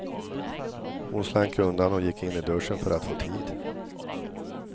Hon slank undan och gick in i duschen för att få tid.